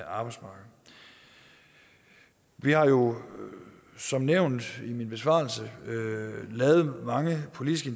arbejdsmarked vi har jo som nævnt i min besvarelse taget mange politiske